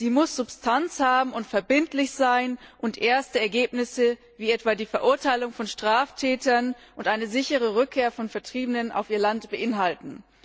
Sie muss Substanz haben und verbindlich sein und erste Ergebnisse wie etwa die Verurteilung von Straftätern und eine sichere Rückkehr von Vertriebenen auf ihr Land beinhalten.